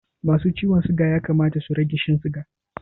Masu ciwon siga ya kamata su rage Shan siga